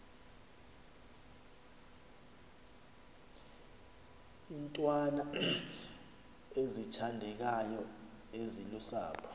iintwana ezithandekayo ezilusapho